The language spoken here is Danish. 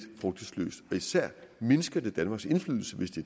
frugtesløst og især mindsker det danmarks indflydelse hvis det